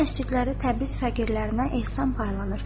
Bütün məscidlərdə Təbriz fəqirlərinə ehsan paylanır.